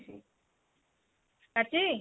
କାଟିଚି?